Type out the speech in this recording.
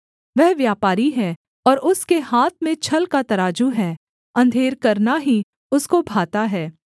वह व्यापारी है और उसके हाथ में छल का तराजू है अंधेर करना ही उसको भाता है